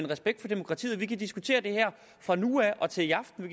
respekt for demokratiet vi kan diskutere det her fra nu af og til i aften og